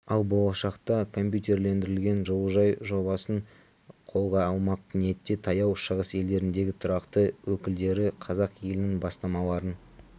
ал болашақта компьютерлендірілген жылыжай жобасын қолға алмақ ниетте таяу шығыс елдеріндегі тұрақты өкілдері қазақ елінің бастамаларын